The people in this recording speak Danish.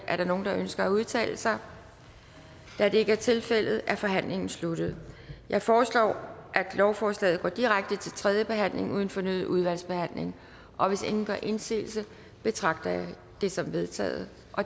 er der nogen der ønsker at udtale sig da det ikke er tilfældet er forhandlingen sluttet jeg foreslår at lovforslaget går direkte til tredje behandling uden fornyet udvalgsbehandling og hvis ingen gør indsigelse betragter jeg det som vedtaget